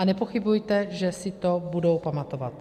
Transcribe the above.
A nepochybujte, že si to budou pamatovat.